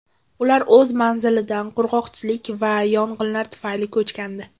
Ular o‘z manzilidan qurg‘oqchilik va yong‘inlar tufayli ko‘chgandi.